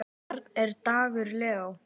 Þeirra barn er Dagur Leó.